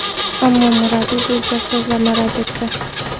Ammo murabbiy bu gap-so‘zlarni rad etdi .